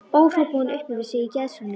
Ó, hrópaði hún upp yfir sig í geðshræringu.